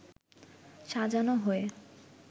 সাজানো হয়ে